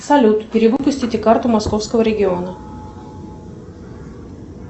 салют перевыпустите карту московского региона